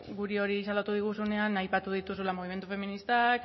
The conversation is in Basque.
guri hori salatu diguzunean aipatu dituzula mugimendu feministak